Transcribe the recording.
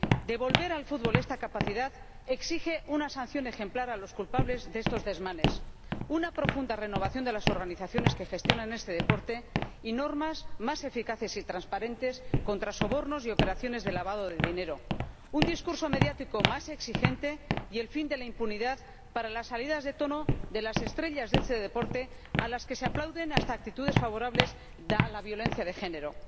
Devolver al fútbol esta capacidad exige una sanción ejemplar a los culpables de estos desmanes, una profunda renovación de las organizaciones que gestionan este deporte y normas más eficaces y transparentes contra sobornos y operaciones de lavado de dinero, un discurso mediático más exigente y el fin de la impunidad para las salidas de tono de las estrellas de este deporte a las que se aplauden hasta actitudes favorables a la violencia de género.